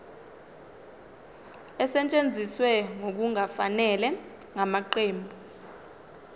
esetshenziswe ngokungafanele ngamaqembu